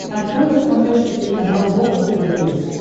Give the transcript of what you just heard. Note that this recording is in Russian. открой на смотрешке телеканал бокс тв плюс